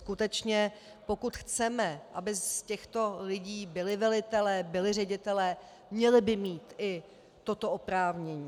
Skutečně pokud chceme, aby z těchto lidí byli velitelé, byli ředitelé, měli by mít i toto oprávnění.